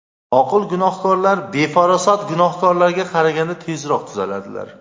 Oqil gunohkorlar befarosat gunohkorlarga qaraganda tezroq tuzaladilar.